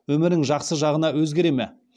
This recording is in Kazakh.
өмірің жақсы жағына өзгере ме